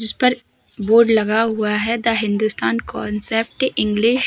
जिसपर बोर्ड लगा हुआ है। The Hindustan concept English --